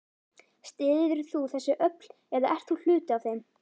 Styður þú þessi öfl eða ert þú hluti af þeim?